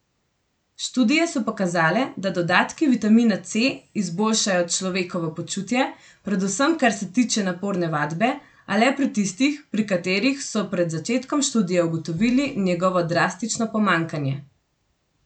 Študije so pokazale, da dodatki vitamina C izboljšajo človekovo počutje, predvsem kar se tiče naporne vadbe, a le pri tistih, pri katerih so pred začetkom študije ugotovili njegovo drastično pomanjkanje.